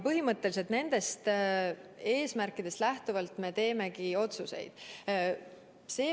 Põhimõtteliselt nendest näitajatest lähtuvalt me teemegi otsuseid.